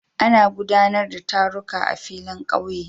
Ana guɗanar da taruka a filin ƙauye